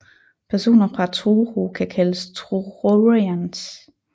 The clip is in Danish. Personer fra Truro kan kaldes Truronians